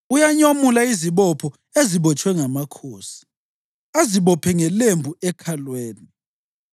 Uyanyomula izibopho ezibotshwe ngamakhosi azibophe ngelembu ekhalweni.